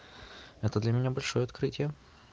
это для меня большое открытие